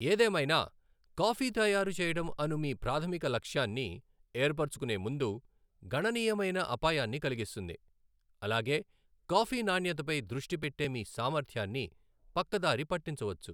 ఏదేమైనా, కాఫీ తయారు చేయడం అను మీ ప్రాథమిక లక్ష్యాన్ని ఏర్పరచుకునే ముందు, గణనీయమైన అపాయాన్ని కలిగిస్తుంది, అలాగే కాఫీ నాణ్యతపై దృష్టి పెట్టే మీ సామర్థ్యాన్ని పక్కదారి పట్టించవచ్చు.